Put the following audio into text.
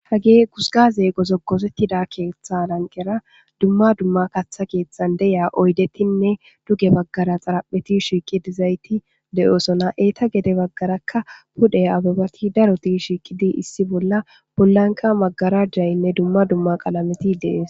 Hagee guzgaazee gozogoththida keeththaa lanqqera dumma dumma kaththa keeththan de7iya oydethinne duge baggara xaraphethi diza eethid de7oosona; eethappe gede baggarakka wode ababathi darothi shiiqidi issi bolla bollankka magarajjaynne dumma dumma qalamethi de7ees.